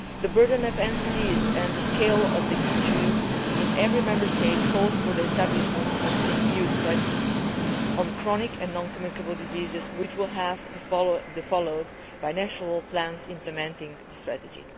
The burden of NCDs and the scale of the issue in every Member State call for the establishment of an EU strategy on chronic and non communicable diseases, which will have to be followed by national plans implementing the strategy.